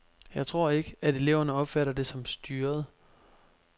Jeg tror ikke, at eleverne opfatter det som styret.